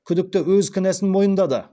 күдікті өз кінәсін мойындады